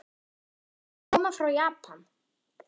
Varstu að koma frá Japan?